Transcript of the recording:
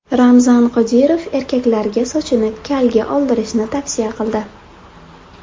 Ramzan Qodirov erkaklarga sochini kalga oldirishni tavsiya qildi.